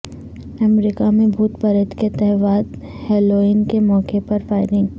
امریکہ میں بھوت پریت کے تہوار ہیلوئین کے موقع پر فائرنگ